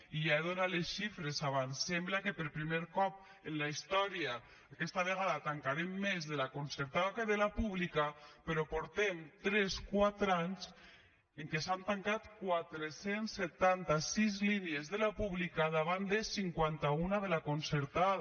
i ja he donat les xifres abans sembla que per primer cop en la història aquesta vegada tancarem més de la concertada que de la pública però portem tres quatre anys en què s’han tancat quatre cents i setanta sis línies de la pública davant de cinquanta un de la concertada